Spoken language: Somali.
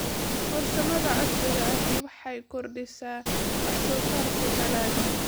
Farsamada casriga ahi waxay kordhisaa wax soo saarka dalagga.